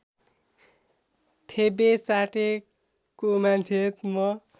थेबे चाटेको मान्छे म